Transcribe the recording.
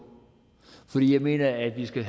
for jeg mener at vi skal